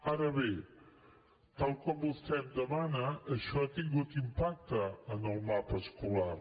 ara bé tal com vostè em demana això ha tingut impacte en el mapa escolar